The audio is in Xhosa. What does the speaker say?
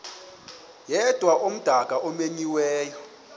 yedwa umdaka omenyiweyo